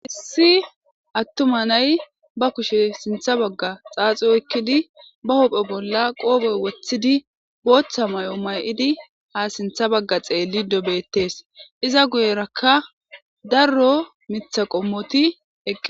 hissi attuma nay ba kushe sintha bagga xaaxi oykkidi ba hopphe bolla qooboy wothidi booththa may7o may7idi ha sintha bagga xeelli dobettees iza guyerakka darro mitha qommoti eqqe